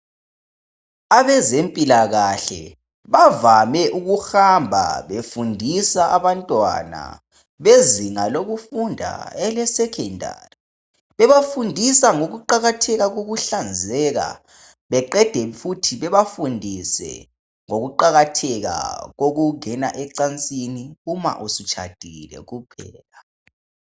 Abezempilakahle bavame ukuhamba befundisa abantwana bezinga lokufunda elesekhendari bebafundisa ngokuqakatheka kokuhlanzeka beqede futhi bebafundise ngokuqakatheka kokungena ecansini uma usutshadile kuphela.